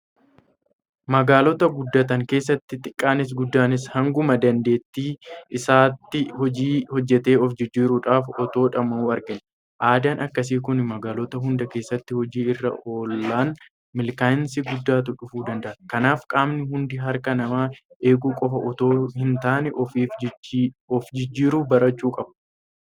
Magaalota guddatan keessatti xiqqaanis guddaanis hanguma dandeettii isaatii hojii hojjetee of jijjiiruudhaaf otoo dhama'uu argani. Aadaan akkasii kun magaalota hunda keessatti hojii irra oolan milkaa'insa guddaatu dhufuu danda'a. Kanaaf qaamni hunduu harka namaa eeguu qofa itoo hintaane ofiif ofjijjiiruu barachuu qaba.